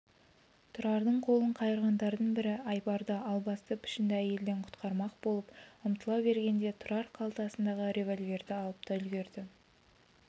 тұрардың қолын қайырғандардың бірі айбарды албасты пішінді әйелден құтқармақ болып ұмтыла бергенде тұрар қалтасындағы револьверді алып та үлгірді